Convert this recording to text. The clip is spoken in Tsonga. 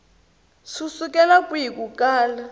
swi sukela kwihi ku kala